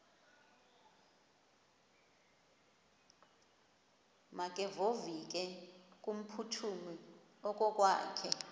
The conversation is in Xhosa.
makevovike kumphuthumi okokwakhe